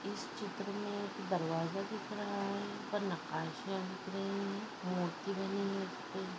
इस चित्र मे एक दरवाजा दिख रहा है। ऊपर नकाशा दिख रही है। मूर्ति बनी है।